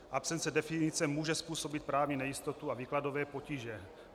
Absence definice může způsobit právní nejistotu a výkladové potíže.